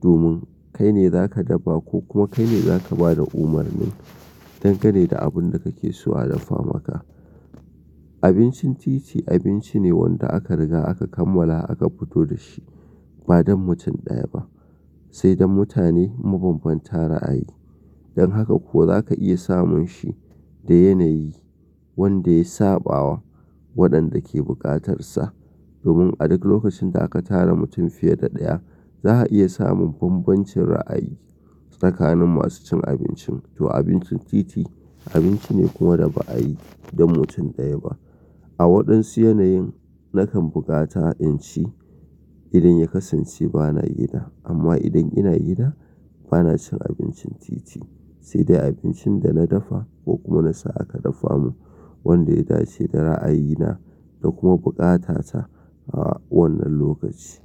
domin kai ne za ka dafa ko kuma kai ne za ka ba da umarni dangane da abun da kake so a dafa maka. Abincin titi abinci ne wanda aka riga aka kammala aka futo da shi ba don mutum ɗaya ba, sai dan mutane mabanbanta ra'ayi. Don haka kuwa za ka iya samun shi da yanayi wanda ya sabawa waɗanda ke bukatarsa. Domin a duk lokacin da ka tara mutum fiye da ɗaya, za a iya samun bambancin ra'ayi tsakanin masu cin abincin. To abincin titi abinci ne kuma da ba a yi dan mutun ɗaya ba. A waɗansu yanayin nakan bukata in ci idan ya kasance bana gida. Amma idan ina gida bana cin abincin titi, sai dai abincin da na dafa ko kuma na sa aka dafa mun wanda ya dace da ra'ayina da kuma bukatata a wannan lokaci.